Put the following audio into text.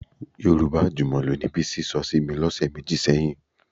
Yorùbá àjùmọ̀lò ni Bísí sọ sí mi lọ́sẹ̀ méjì sẹ́yìn